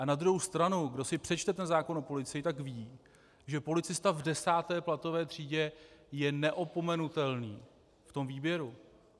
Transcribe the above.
A na druhou stranu, kdo si přečte ten zákon o policii, tak ví, že policista v desáté platové třídě je neopomenutelný v tom výběru.